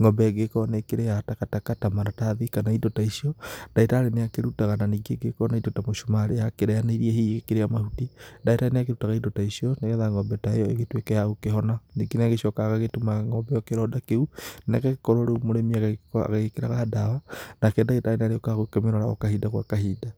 ng'ombe ĩgĩkorwo nĩ ĩkĩrĩaga takataka ta maratahi kana indo ta icio ndagĩtarĩ nĩ akĩrũtaga na ningĩ ĩgĩkorwo na indo ta mũcumarĩ yakĩrĩanĩirie hihi ĩgĩkĩrĩa mahuti ndagĩtarĩ nĩ akĩrutaga indo ta icio nĩgetha ng'ombe ta ĩyo igĩtũike ya gũkĩhona, ningĩ nĩ agĩcokaga agagĩtuma ng'ombe ĩo kĩronda kĩu na ĩgagĩkorwo rĩu mũrĩmi agagĩkorwo agĩkĩraga ndawa nake ndagĩtarĩ nĩ arĩũkaga kũmĩrora o kahinda gwa kahinda.